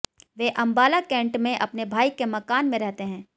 वे Ambala cantt में अपने भाई के मकान में रहते हैं